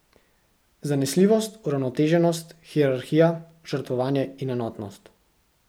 Zanesljivost, uravnoteženost, hierarhija, žrtvovanje in enotnost.